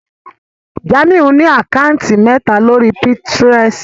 Jamiu ní Àkáùntì méta lórí Pinterest.